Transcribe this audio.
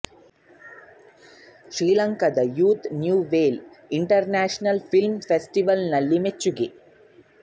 ಶ್ರೀಲಂಕದ youth new wave international film festival ನಲ್ಲಿ ಮೆಚ್ಚುಗೆ